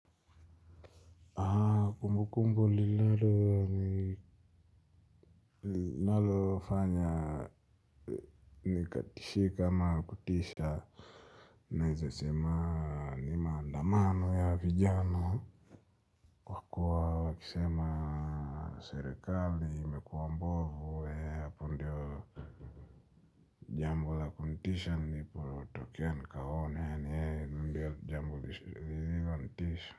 Kumbukumbu lilalo ni nalo fanya ni katishika ama kutisha. Naweaa sema ni maandamano ya vijana. Kwa wakisema serekali imekuwa mbovu hapo ndiyo jambo la kunitisha nilipotokea nikaona yani ndiyo jambo lililo nitisha.